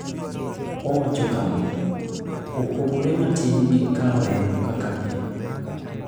Owacho kama: “Opogore matin gi kawo remo kaka pile.”